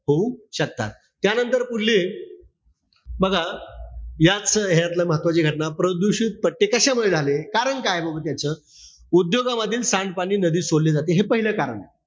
होऊ शकतात. त्यानंतर पुढले, बघा, या च ह्यातलं महत्वाची घटना, प्रदूषित पट्टे कशामुळे झाले? कारण काय याच? उद्योगांमधील सांडपाणी नदीत सोडलं जात हे पाहिलं कारण.